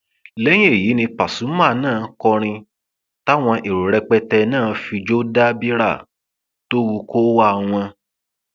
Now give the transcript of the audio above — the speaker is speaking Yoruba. lẹyìn èyí ni pasuma náà kọrin táwọn èrò rẹpẹtẹ náà sì fijó dá bírà tó wu kóówá wọn